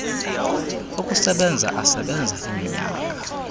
okusebenza asebenza iminyaka